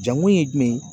Jankun ye jumɛn ye